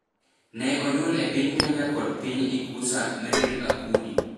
ne onyuol e piny Kenya kod piny Ikusa Meril Akudi